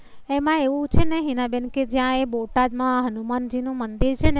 એમાં એવું છે ને હિનાબેન કે જ્યા એ બોટાદ માં હનુમાનજી નું મંદિર છે